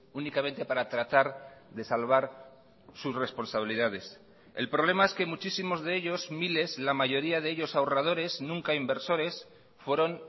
únicamente para tratar de salvar sus responsabilidades el problema es que muchísimos de ellos miles la mayoría de ellos ahorradores nunca inversores fueron